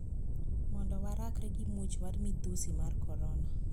Mondo warakre gi muoch mar midhusi mar korona